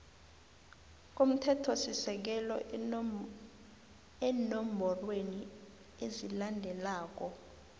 komthethosisekelo eenomborweni ezilandelako